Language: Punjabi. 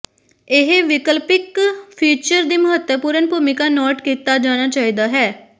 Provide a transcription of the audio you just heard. ਇਹ ਵਿਕਲਪਿਕ ਫੀਚਰ ਦੀ ਮਹੱਤਵਪੂਰਨ ਭੂਮਿਕਾ ਨੋਟ ਕੀਤਾ ਜਾਣਾ ਚਾਹੀਦਾ ਹੈ